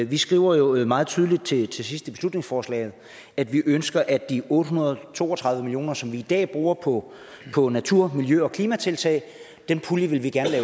vi skriver jo meget tydeligt til til sidst i beslutningsforslaget at vi ønsker at de otte hundrede og to og tredive million kr som vi i dag bruger på på natur miljø og klimatiltag